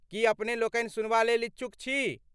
की अपने लोकनि सुनबा लेल इच्छुक छी?